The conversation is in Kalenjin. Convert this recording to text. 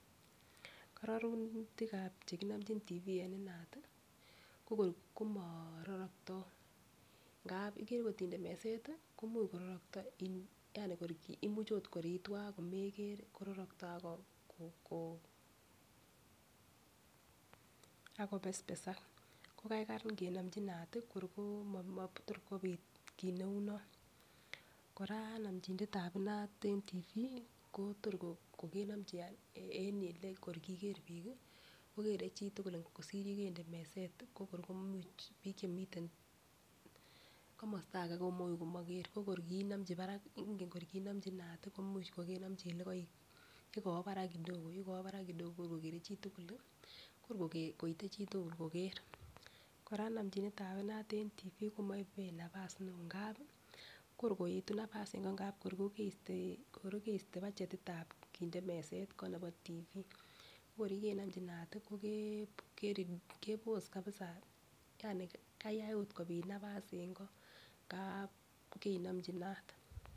Kororonutikab chekinomchin Tv en inat tii ko kor komororokto ngap ikere kotinde meset tii komuch kororokyo kor in yani imuch ot kor it was komoker kororokto ak Koko ak kopespesak ko kaikai nkenomchi inat tii kor ko matot kobit kit neu non. Koraa nomchinetab inat en Tv ko tor kokenomchi kokere chitukul kosir yekende meset ko kor imuch bik chemiten komosto age komuch komoker ko kor konomchi barak ingen kor konomchi inat komuch kokenomchi olekoik yekowo barak kidogo yekowo barak kidogo kor kokere chitukul lii , kor koite chitukul koker. Koraa nomchinet tab inat en TV komoibe nabas neo ngapi kor koetu naba's en koo kor kokeste budgetitab kinde meset koo nebo TV. Ko kor yekenomchi inat tii ko ke kebos kabisa yani kayai ot kobit nabas en koo ngap keinomchi inat.